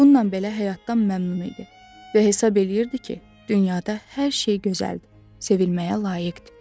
Bununla belə həyatdan məmnun idi və hesab eləyirdi ki, dünyada hər şey gözəldir, sevilməyə layiqdir.